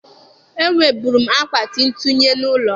E nweburu m akpati ntụnye n'ụlọ m.